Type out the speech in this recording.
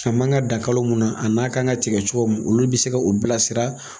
A man kan ka dan kalo munnan a n'a ka kan ka tigɛ cogo mun olu bɛ se ka o bilasira.